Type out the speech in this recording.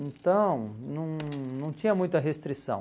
Então, não não tinha muita restrição.